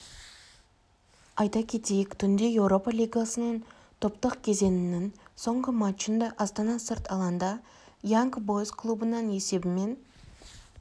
айта кетейік түнде еуропа лигасының топтық кезеңінің соңғы матчында астана сырт алаңда янг бойз клубынан есебімен